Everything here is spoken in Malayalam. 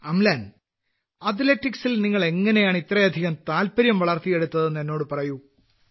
അംലൻ അത്ലറ്റിക്സിൽ നിങ്ങൾ എങ്ങനെയാണ് ഇത്രയധികം താൽപര്യം വളർത്തിയെടുത്തതെന്ന് എന്നോട് പറയൂ